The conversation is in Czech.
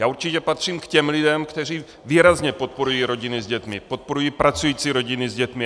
Já určitě patřím k těm lidem, kteří výrazně podporují rodiny s dětmi, podporují pracující rodiny s dětmi.